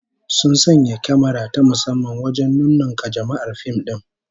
Sun sanya kyamara ta musamman wajen nunnunka jama'ar fim din